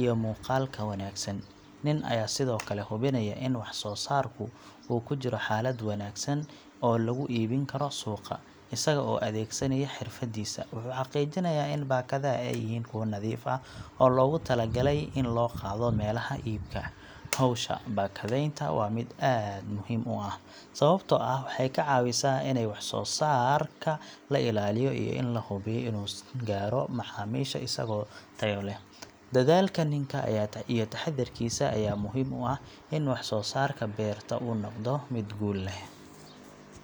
iyo muuqaalka wanaagsan. Nin ayaa sidoo kale hubinaya in wax soo saarku uu ku jiro xaalad wanaagsan oo lagu iibin karo suuqa. Isaga oo adeegsanaya xirfadiisa, wuxuu xaqiijinayaa in baakadaha ay yihiin kuwo nadiif ah oo loogu tala galay in loo qaado meelaha iibka. Hawsha baakadaynta waa mid muhiim ah, sababtoo ah waxay ka caawisaa in wax soo saarka la ilaaliyo iyo in la hubiyo inuu gaaro macaamiisha isagoo tayo leh. Dadaalka ninka iyo taxaddarkiisa ayaa muhiim u ah in wax soo saarka beerta uu noqdo mid guul leh.